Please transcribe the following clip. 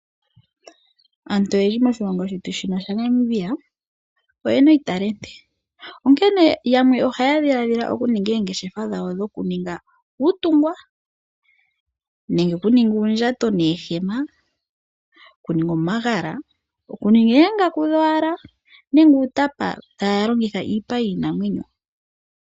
Aantu oyendji moshilongo shetu shino shaNamibia oye na iitalenti, onkene yamwe ohaya dhiladhila okuninga oongeshefa dhawo dhokuninga uutungwa, nenge okuninga uundjato noohema, okuninga omagala, okuninga oongaku dhowala nenge uutapa taya longitha iipa yiinamwenyo.